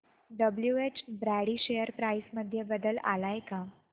WH Brady share price मध्ये बदल आलाय का